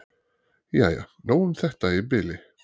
"""Jæja, nóg um þetta í bili."""